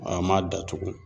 An m'a datugu